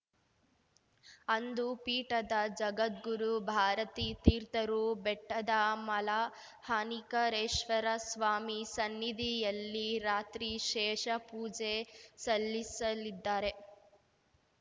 ಅಂದು ಪೀಠದ ಜಗದ್ಗುರು ಭಾರತೀ ತೀರ್ಥರು ಬೆಟ್ಟದ ಮಲಹಾನಿಕರೇಶ್ವರ ಸ್ವಾಮಿ ಸನ್ನಿಧಿಯಲ್ಲಿ ರಾತ್ರಿ ಶೇಷ ಪೂಜೆ ಸಲ್ಲಿಸಲಿದ್ದಾರೆ